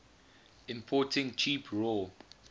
importing cheap raw